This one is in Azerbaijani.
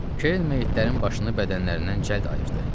Kerrin meyitlərin başını bədənlərindən cəld ayırdı.